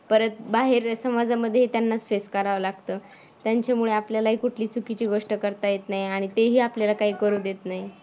परत बाहेर समाजामध्ये ही त्यांनाच फेस करावं लागतं. त्यांच्यामुळे आपल्यालाही कुठली चुकीची गोष्ट करता येत नाही आणि ते ही आपल्याला काही करू देत नाहीत.